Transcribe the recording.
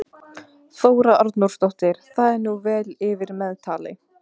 Hvernig hefur efnahagsástandið í landinu leikið ykkur?